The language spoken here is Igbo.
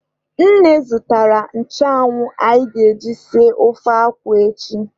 Nne zụtara nchụanwụ anyị ga-eji esi ofe akwụ echi.